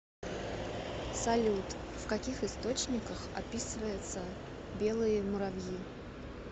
салют в каких источниках описывается белые муравьи